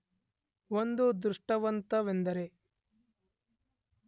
ಒಂದು ದೃಷ್ಟಾಂತವೆಂದರೆ